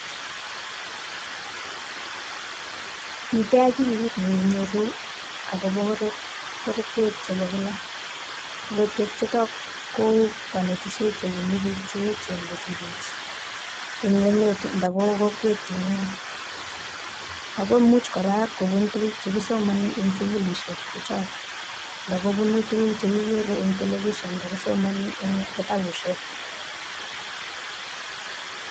Miten akilit nekinyoru akobo korotwe chebo kilaa, korotwe chetaa ko konetishet chebunu biik cheechen kosir chemeng'ech eng' emet ndo kokwet nengung ako much kora kokonin tukuk chekisomoni en sukulishek chechok, ndokobunu tukuk chekikere en television, ndokisomoni en kitabushek.